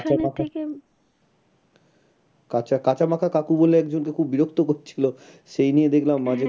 কাঁচা, কাঁচা মাখা কাকু বলে একজনকে খুব বিরক্ত করছিলো সেই নিয়ে দেখলাম মাঝে